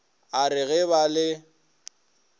a re ge ba le